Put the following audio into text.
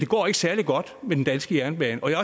går særlig godt med den danske jernbane og jeg